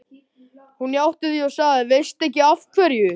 Hún játti því og sagði: Veistu ekki af hverju?